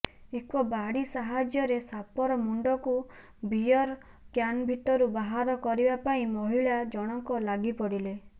ଏକ ବାଡ଼ି ସାହାଯ୍ୟରେ ସାପର ମୁଣ୍ଡକୁ ବିୟର୍ କ୍ୟାନ୍ ଭିତରୁ ବାହାର କରିବା ପାଇଁ ମହିଳା ଜଣକ ଲାଗିପଡ଼ିଲେ